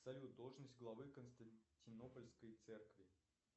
салют должность главы константинопольской церкви